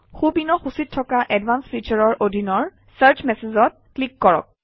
সোঁপিনৰ সূচীত থকা advanced Features ৰ অধীনৰ চাৰ্চ Messages অত ক্লিক কৰক